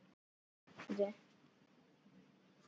Hrund: Ekki bifvélavirki?